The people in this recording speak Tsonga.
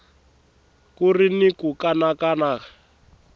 ku ri ni ku kanakana